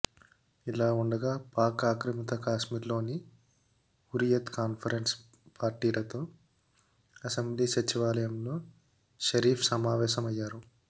ఇలా ఉండగా పాక్ ఆక్రమిత కాశ్మీర్లోని హురియత్ కాన్ఫరెన్స్ పార్టీలతో అసెంబ్లీ సచివాలయంలో షరీఫ్ సమావేశమయ్యారు